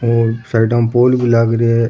साइडा में पोल भी लाग रो है।